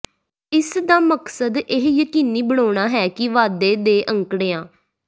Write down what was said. ਇਸ ਦਾ ਮਕਸਦ ਇਹ ਯਕੀਨੀ ਬਣਾਉਣਾ ਹੈ ਕਿ ਵਾਧੇ ਦੇ ਅੰਕੜਿਆ